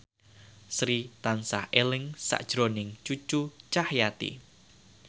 Sri tansah eling sakjroning Cucu Cahyati